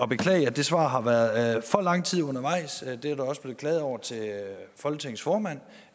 beklage at det svar har været for lang tid undervejs det er der også blevet klaget over til folketingets formand